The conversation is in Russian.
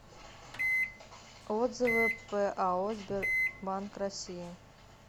отзывы пао сбербанк россии